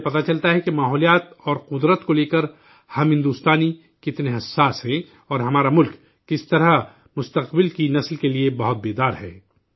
ان سے پتہ چلتا ہے کہ ماحولیات اور فطرت کو لے کر ہم ہندوستانی کتنے حساس ہیں، اور ہمارا ملک کس طرح مستقبل کی نسل کے لیے بہت بیدار ہے